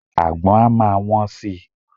Àgbon á máa wón si.